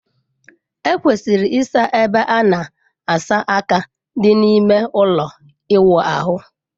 E kwesịrị ịsa ebe a na asa aka dị n'ime ụlọ ịwụ ahụ.